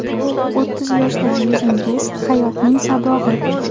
O‘ttiz yoshdagi yuzingiz – hayotning sabog‘i.